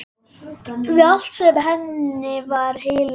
Við allt sem henni var heilagt.